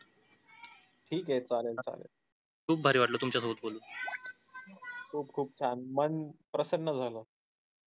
खूप खूप छान मन प्रसन्न झाल